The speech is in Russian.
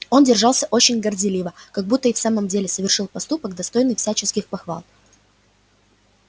он держался очень горделиво как будто и в самом деле совершил поступок достойный всяческих похвал